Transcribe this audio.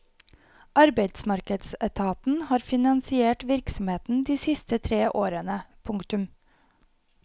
Arbeidsmarkedsetaten har finansiert virksomheten de siste tre årene. punktum